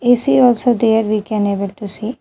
We see also there we can able to see.